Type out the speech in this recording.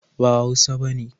ba hausa bane